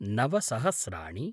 नव सहस्राणि